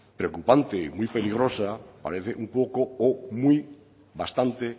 preocupante y muy peligrosa parece un poco o muy bastante